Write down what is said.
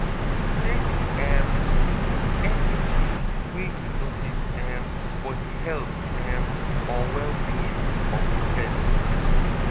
Take um note of any change wey you notice um for di health um or well-being of di pet